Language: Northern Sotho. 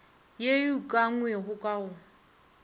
ye e ukangwego ka go